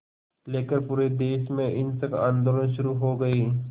लेकर पूरे देश में हिंसक आंदोलन शुरू हो गए